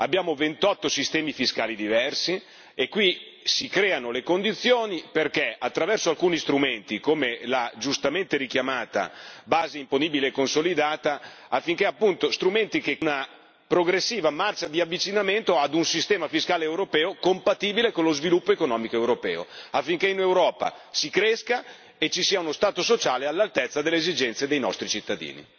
Abbiamo 28 sistemi fiscali diversi e qui si creano le condizioni perché attraverso alcuni strumenti, come la giustamente richiamata base imponibile consolidata, sia resa possibile una progressiva marcia di avvicinamento ad un sistema fiscale europeo compatibile con lo sviluppo economico europeo, affinché in Europa si cresca e ci sia uno Stato sociale all'altezza delle esigenze dei nostri cittadini.